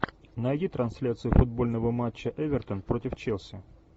найди трансляцию футбольного матча эвертон против челси